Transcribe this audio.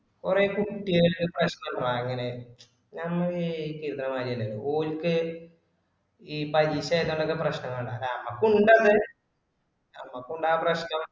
കൊറേ കുട്ടികൾക്ക് പ്രശ്നം ഇണ്ട അങ്ങനെ നമ്മ വിയയ്ക്കുന്നമായിയല്ല ഓർക്ക് ഈ പരീക്ഷ എഴുതണത് പ്രശ്നംകൊണ്ടാ അല്ല നമ്മക്കും ഇണ്ടത് നമ്മക്കും ഇണ്ട് അപ്രശ്നം